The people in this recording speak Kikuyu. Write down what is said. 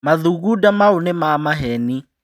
Mathugunda mau nĩ mamaheni.